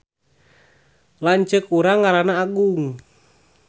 Lanceuk urang ngaranna Agung